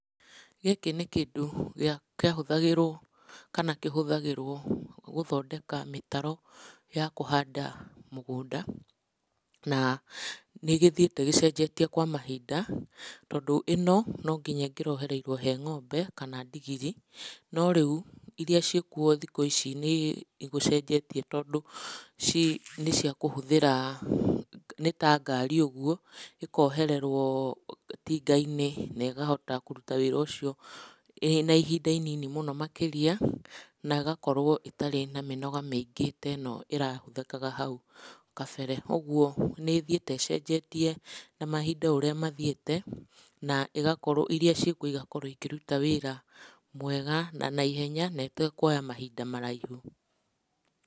Gĩkĩ nĩ kĩndũ gĩa kĩahũthagĩrwo, kana kĩhũthagĩrwo gũthondeka mĩtaro ya kũhandũ mũgũnda, na nĩgĩthiĩte gĩcenjetio kwa mahinda, tondũ ino, nonginya ĩngĩrohereirwo he ngombe kana ndigiri, no rĩũ, iria ciĩkuo thikũ ici nĩ gũcenjetie tondũ ci nĩciakũhũthĩra, nĩta ngari ũguo, ĩkohererwo itingainĩ na ĩkahota kũruta wĩra ũcio ĩna ihinda inini mũno makĩria, na ĩgakorwo ĩtarĩ na mĩnoga mĩingĩ ta ĩno ĩrahũthũkaga hau kabere. Ũguo nĩithiete ĩcenjetie na mahinda ũrĩa mathiĩte, na ĩgakorwo iria cĩikuo igakorwo ikĩruta wĩra mwega na naihenya, na ĩtakuoya mahinda maraihu.